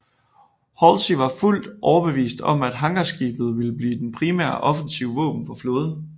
Halsey var fuldt overbevist om at hangarskibet ville blive det primære offensive våben for flåden